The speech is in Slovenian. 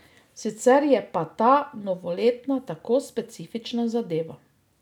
Sicer je pa ta novoletna tako specifična zadeva.